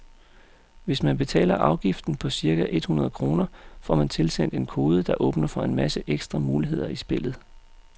Hvis man betaler afgiften på cirka et hundrede kroner, får man tilsendt en kode, der åbner for en masse ekstra muligheder i spillet.